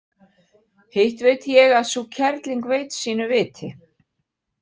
Hitt veit ég að sú kerling veit sínu viti.